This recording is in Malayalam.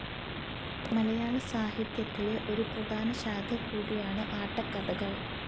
മലയാളസാഹിത്യത്തിലെ ഒരു പ്രധാന ശാഖ കൂടിയാണ് ആട്ടക്കഥകൾ.